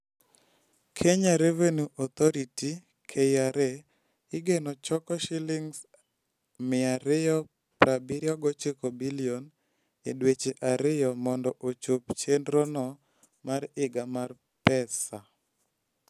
Kenya Revenue Authority (KRA) igeno choko Sh279 billion e dweche ariyo mondo ochop chenrono mar higa mar pesa.